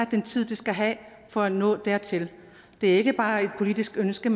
den tid det skal have for at nå dertil det er ikke bare et politisk ønske